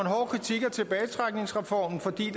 en tilbagetrækningsreformen fordi